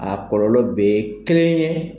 A kɔlɔlɔ bɛɛ ye kelen ye.